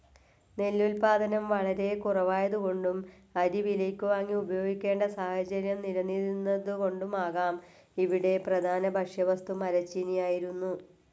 നെല്ലുൽപ്പാദനം വളരെ കുറവായതുകൊണ്ടും അരി വിലയ്ക്കുവാങ്ങി ഉപയോഗിക്കേണ്ട സാഹചര്യം നിലനിന്നിരുന്നതുകൊണ്ടുമാകാം ഇവിടെ പ്രധാന ഭക്ഷ്യവസ്തു മരച്ചീനിയായിരുന്നു.